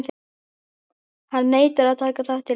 Hann neitar að taka þátt í leiknum.